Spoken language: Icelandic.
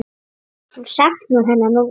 Hún saknar hennar núna.